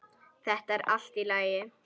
Þetta er allt í lagi.